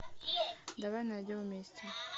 давай найдем вместе